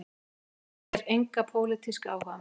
Umgangist þér enga pólitíska áhugamenn